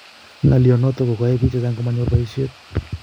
Ngalyo notok ko koyai biik chechang komanyor boishet